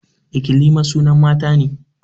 Ikilima sunan mata ne